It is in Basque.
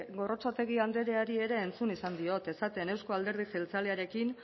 gorrotxategi andreari ere entzun izan diot esaten euzko alderdi jeltzalearekin